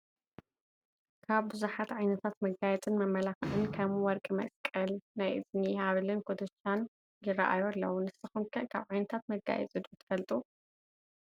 ካብ ብዙሓት ዓይነታት መጋየፅን መመላኽዕን ከም ወርቂ መስቀል ፣ ናይ እዝኒ፣ ሃብልን ኩትሻን ይራኣዩ ኣለው፡፡ ንስኹም ከ ካብ ዓይነታት መጋየፂ ዶ ትፈልጡ?